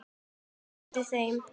sinnti þeim.